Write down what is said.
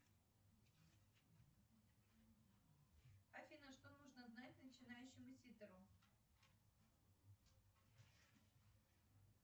афина что нужно знать начинающему ситеру